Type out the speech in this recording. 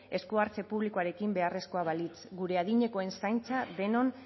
esku hartze publikoarekin beharrezkoa balitz gure adinekoen zaintza denon